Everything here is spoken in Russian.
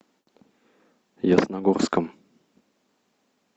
ясногорском